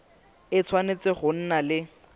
e tshwanetse go nna le